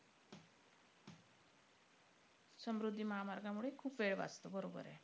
समृद्धी महामार्गामुळे खूप वेळ वाचतो. बरोबर आहे.